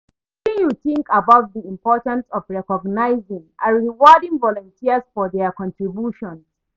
Wetin you think about di importance of recongnizing and rewarding volunteers for dia contributions.